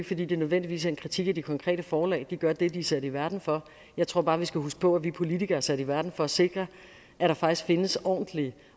fordi det nødvendigvis er en kritik af de konkrete forlag de gør det de er sat i verden for jeg tror bare vi skal huske på at vi politikere er sat i verden for at sikre at der faktisk findes ordentlige